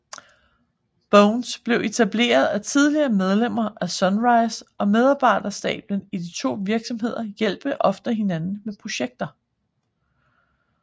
Bones blev etableret af tidligere medlemmer af Sunrise og medarbejderstaben i de to virksomheder hjælper ofte hinanden med projekter